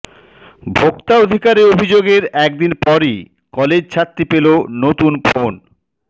ভোক্তা অধিকারে অভিযোগের একদিন পরই কলেজছাত্রী পেলো নতুন ফোন